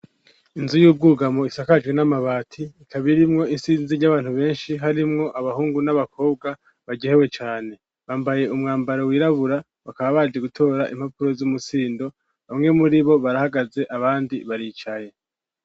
Inzu y'ubwugamo isakajwe n'amabati ikaba irimwo isinzi ry'abantu benshi harimwo abahungu n'abakobwa baryohewe cane. Bambaye umwambaro wirabura bakaba baje gutora impapuro z'umusindo, bamwe muri bo barahagaze abandi baricaye.